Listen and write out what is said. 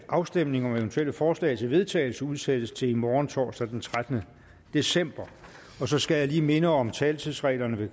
at afstemning om eventuelle forslag til vedtagelse udsættes til i morgen torsdag den trettende december så skal jeg lige minde om taletidsreglerne